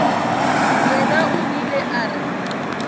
yena o ile a re